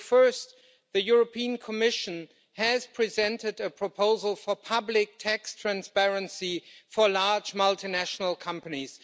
First, the European Commission has presented a proposal for public tax transparency for large multinational companies.